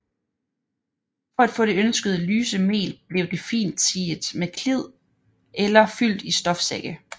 For at få det ønskede lyse mel blev det fint siet med klid eller fyldt i stofsække